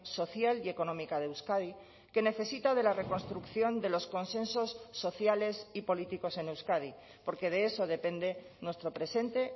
social y económica de euskadi que necesita de la reconstrucción de los consensos sociales y políticos en euskadi porque de eso depende nuestro presente